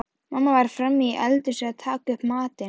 Mamma var frammí eldhúsi að taka upp matinn.